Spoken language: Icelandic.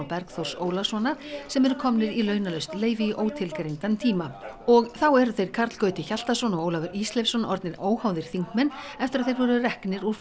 Bergþórs Ólasonar sem eru komnir í launalaust leyfi í ótilgreindan tíma og þá eru þeir Karl Gauti Hjaltason og Ólafur Ísleifsson orðnir óháðir þingmenn eftir að þeir voru reknir úr